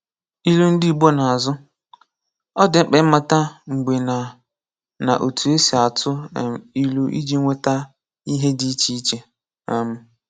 Ilu Ndị Igbo n'azụ: Ọ dị mkpa ịmata mgbe na na otu esi atụ um ilu iji nweta ihe dị iche iche um